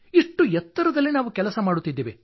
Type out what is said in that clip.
ಇಷ್ಟು ಎತ್ತರದ ಪ್ರದೇಶದಲ್ಲಿ ನಾವು ಕೆಲಸ ಮಾಡುತ್ತಿದ್ದೇವೆ